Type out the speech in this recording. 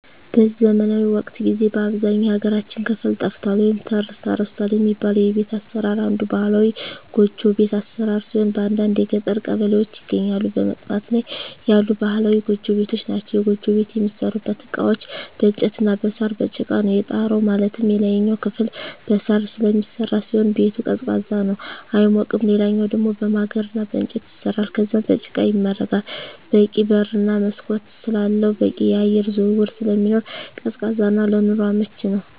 በዚህ ዘመናዊ ወቅት ጊዜ በአብዛኛው የሀገራችን ክፍል ጠፍቷል ወይም ተረስቷል የሚባለው የቤት አሰራር አንዱ ባህላዊ ጎጆ ቤት አሰራር ሲሆን በአንዳንድ የገጠር ቀበሌዎች ይገኛሉ በመጥፋት ላይ ያሉ ባህላዊ ጎጆ ቤቶች ናቸዉ። የጎጆ ቤት የሚሠሩበት እቃዎች በእንጨት እና በሳር፣ በጭቃ ነው። የጣራው ማለትም የላይኛው ክፍል በሳር ስለሚሰራ ሲሆን ቤቱ ቀዝቃዛ ነው አይሞቅም ሌላኛው ደሞ በማገር እና በእንጨት ይሰራል ከዛም በጭቃ ይመረጋል በቂ በር እና መስኮት ስላለው በቂ የአየር ዝውውር ስለሚኖር ቀዝቃዛ እና ለኑሮ አመቺ ነው።